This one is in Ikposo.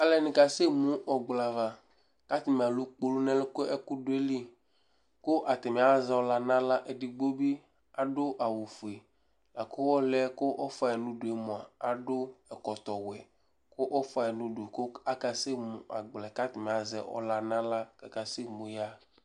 Alʋ ɛdɩnɩ kasɛmu ʋkpla ava, kʋ atanɩ alʋ kpolu nʋ ɛlʋ, kʋ ɛkʋ dʋ ayili, kʋ atanɩ azɛ ɔla nʋ aɣla, edigbo bɩ adʋ awʋ fue, la kʋ ɔlʋ yɛ ɔfʋa yɩ nʋ udu yɛ mʋa, adʋ ɛkɔtɔwɛ kʋ ɔfʋa yɩ nʋ udu, kʋ akasɛmu akpla yɛ, kʋ atanɩ azɛ ɔla nʋ aɣla kʋ akasɛmu yaɣa